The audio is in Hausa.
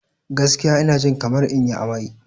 Gaskiya, ina jin kamar in yi amai.